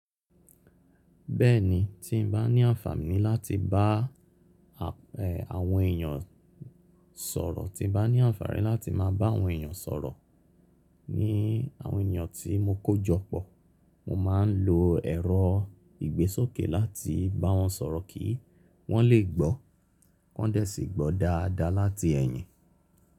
Bẹ́ẹ̀ni, tí n bá ní àǹfààní láti bá àwọn èèyàn sọ̀rọ̀, tí bá ní àǹfààní láti máa bá àwọn èèyàn sọ̀rọ̀, ní àwọn èèyàn tí mo kójọpọ̀, mo máa ń lo ẹ̀rọ ìgbésókè láti bá wọn sọ̀rọ̀ kí wọ́n lè gbọ́, wọn dẹ̀ sì gbọ́ dáadáa láti ẹ̀yìn.